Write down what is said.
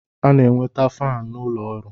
A na-enweta faanụ n'ụlọ ọrụ.